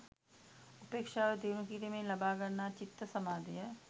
උපේක්ෂාව දියුණු කිරීමෙන් ලබා ගන්නා චිත්ත සමාධිය